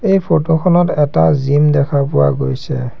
এই ফটো খনত এটা জিম দেখা পোৱা গৈছে।